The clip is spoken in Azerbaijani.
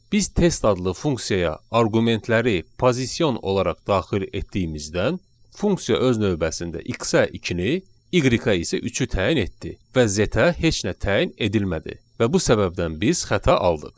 Biz test adlı funksiyaya arqumentləri pozision olaraq daxil etdiyimizdən funksiya öz növbəsində x-ə 2-ni, y-ə isə 3-ü təyin etdi və z-ə heç nə təyin edilmədi və bu səbəbdən biz xəta aldıq.